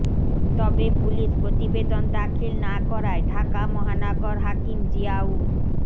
তবে পুলিশ প্রতিবেদন দাখিল না করায় ঢাকা মহানগর হাকিম জিয়াউর